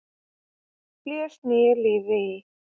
blés nýju lífi í.